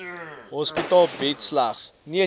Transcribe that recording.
hospitaal bied slegs